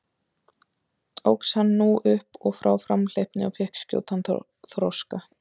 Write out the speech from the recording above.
Óx hann nú upp og frá framhleypni og fékk skjótan þroska.